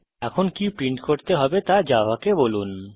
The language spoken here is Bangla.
এখন কি প্রিন্ট করতে হবে তা জাভাকে বলুন